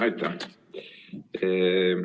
Aitäh!